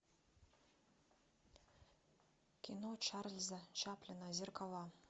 кино чарльза чаплина зеркала